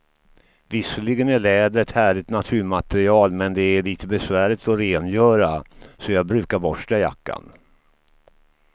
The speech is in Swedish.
Visserligen är läder ett härligt naturmaterial, men det är lite besvärligt att rengöra, så jag brukar borsta jackan.